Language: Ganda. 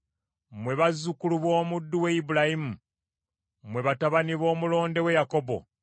mmwe abazzukulu ba Ibulayimu, abaweereza be mmwe abaana ba Yakobo, abalonde be.